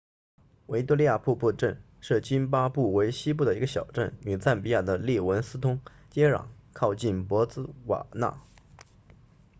维多利亚瀑布镇是津巴布韦西部的一个小镇与赞比亚的利文斯通接壤靠近博茨瓦纳